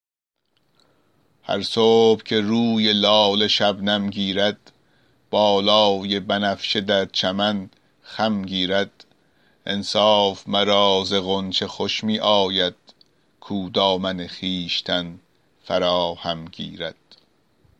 هر صبح که روی لاله شبنم گیرد بالای بنفشه در چمن خم گیرد انصاف مرا ز غنچه خوش می آید کاو دامن خویشتن فراهم گیرد